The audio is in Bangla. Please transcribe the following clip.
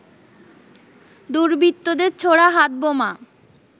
দুর্বৃত্তদের ছোড়া হাতবোমা